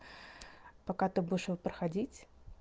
пока ты будешь его проходить